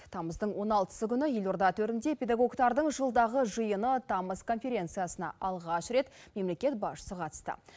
тамыздың он алтысы күні елорда төрінде педагогтардың жылдағы жиыны тамыз конференциясына алғаш рет мемлекет басшысы қатысты